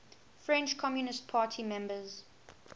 french communist party members